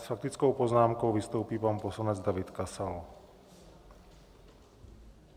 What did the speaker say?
S faktickou poznámkou vystoupí pan poslanec David Kasal.